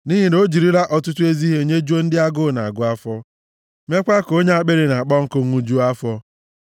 nʼihi na o jirila ọtụtụ ezi ihe nyejuo ndị agụụ na-agụ afọ meekwa ka onye akpịrị na-akpọ nkụ ṅụjuo afọ.